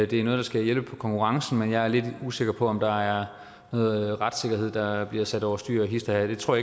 det er noget der skal hjælpe på konkurrencen men jeg er lidt usikker på om der er noget retssikkerhed der bliver sat over styr hist og her det tror